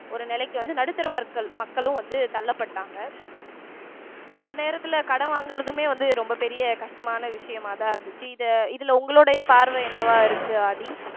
ஒரு நிலைக்கு வந்து நடுத்தர மக்கள் மக்களும் வந்து தள்ளப்பட்டாங்க அந்த நேரத்துல கடன் வாங்குறதுமே வந்து ரொம்ப பெரிய கஷ்டமான விஷயமாதான் இருந்துச்சு இத இதுல உங்களுடைய பார்வை என்னவா இருக்கு ஆதி